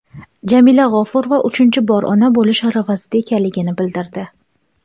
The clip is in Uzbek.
Jamila G‘ofurova uchinchi bor ona bo‘lish arafasida ekanligini bildirdi.